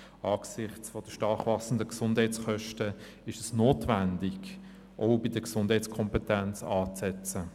Angesichts der stark wachsenden Gesundheitskosten ist es notwendig, auch bei der Gesundheitskompetenz anzusetzen.